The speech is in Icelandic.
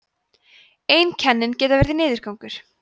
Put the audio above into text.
einkennin geta verið niðurgangur